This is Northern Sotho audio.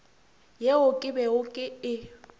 yeo ke bego ke e